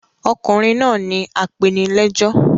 Ọkùnrin náà ni apenilẹ́jọ́.